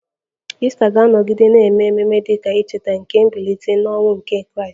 Ista ga-anọgide na-eme ememe dị ka ncheta nke mbilite n'ọnwụ nke Kraịst